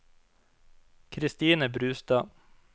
Christine Brustad